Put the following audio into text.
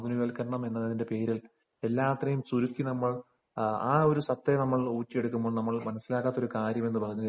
ആധുനികവൽക്കരണം എന്നതിന്റെ പേരിൽ എല്ലാത്തിനെയും ചുരുക്കി നമ്മൾ ആ ഒരു സത്തയെ നമ്മൾ ഊറ്റി എടുക്കുമ്പോൾ നമ്മൾ മനസ്സിലാക്കാത്ത ഒരു കാര്യം എന്ന് പറഞ്ഞാൽ